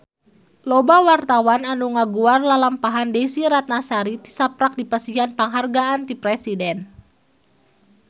Loba wartawan anu ngaguar lalampahan Desy Ratnasari tisaprak dipasihan panghargaan ti Presiden